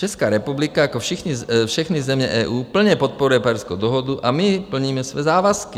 Česká republika jako všechny země EU plně podporuje Pařížskou dohodu a my plníme své závazky.